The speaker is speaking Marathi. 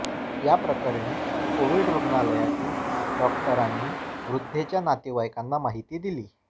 या प्रकरणी कोविड रुग्णालयातील डॉक्टरांनी वृद्धेच्या नातेवाईकांना माहिती दिली